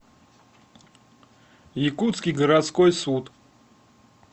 якутский городской суд